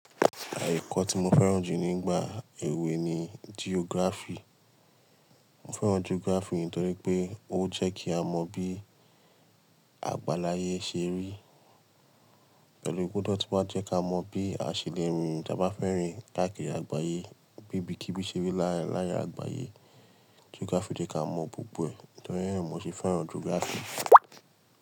Àye ekọ́ tí mo fẹ́ràn jù nígbà èwe ni geography. Mo fẹ́ràn geography nítorí pé ó jẹ́ kí a mọ bí àgbàláye se rí, pẹ̀lú pe o de tí wá jẹ́ ká mọ bí a se le rìn tí a bá fẹ́ rìn káàkiri àgbáyé, bí ibi kí ibi se rí laarin àgbáyé. Geography jẹ́ ká mọ̀ gbogbo ẹ̀, nítorí yẹn ni mo se fẹ́ràn geography.